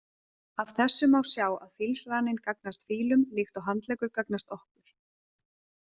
Af þessu má sjá að fílsraninn gagnast fílum líkt og handleggur gagnast okkur.